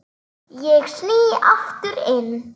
Ég sný aftur inn.